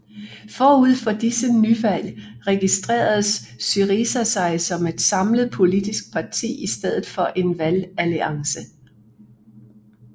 Forud for dette nyvalg registrerede SYRIZA sig som et samlet politisk parti i stedet for en valgalliance